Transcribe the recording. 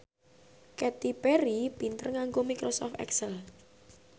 Katy Perry pinter nganggo microsoft excel